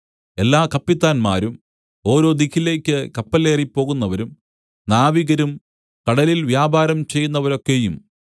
എല്ലാ കപ്പിത്താന്മാരും ഓരോ ദിക്കിലേക്കും കപ്പലേറി പോകുന്നവരും നാവികരും കടലിൽ വ്യാപാരം ചെയ്യുന്നവരൊക്കെയും